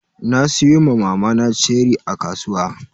Na siyo ma mamana ceri a kasuwa.